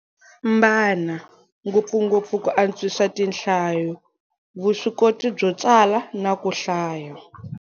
Mbana, ngopfungopfu ku antswisa tinhlayo, vuswikoti byo tsala na ku hlaya.